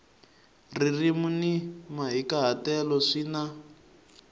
ririmi ni mahikahatelo swi na